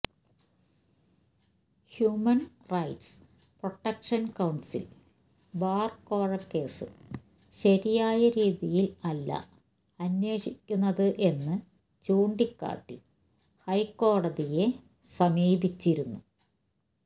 human rights protection council ബാർക്കോഴ case ശരിയായ രീതിയിൽ അല്ല അന്വേഷിക്കുന്നത് എന്ന് ചൂണ്ടിക്കാട്ടി ഹൈക്കോടതിയെ സമീപിച്ചിരുന്നു